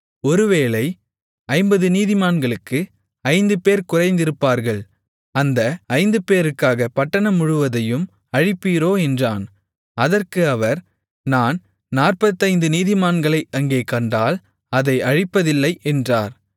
ஒருவேளை ஐம்பது நீதிமான்களுக்கு ஐந்துபேர் குறைந்திருப்பார்கள் அந்த ஐந்துபேருக்காக பட்டணம் முழுவதையும் அழிப்பீரோ என்றான் அதற்கு அவர் நான் நாற்பத்தைந்து நீதிமான்களை அங்கே கண்டால் அதை அழிப்பதில்லை என்றார்